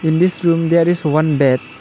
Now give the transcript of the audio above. in this room there is one bed.